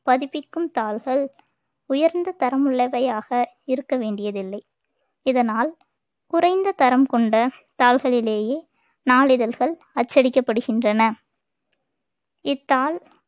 பதிப்பிக்கும் தாள்கள் உயர்ந்த தரம் உள்ளவையாக இருக்க வேண்டியதில்லை இதனால் குறைந்த தரம் கொண்ட தாள்களிலேயே நாளிதழ்கள் அச்சடிக்கப்படுகின்றன இத் தாள்